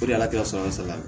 O de la sɔnni